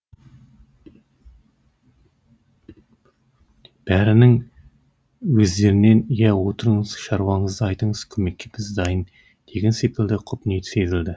бәрінің көздерінен иә отырыңыз шаруаңызды айтыңыз көмекке біз дайын деген секілді құп ниет сезілді